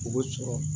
O bɛ sɔrɔ